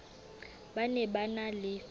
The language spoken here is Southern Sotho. ba ne ba na le